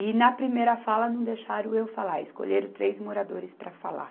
E na primeira fala não deixaram eu falar, escolheram três moradores para falar.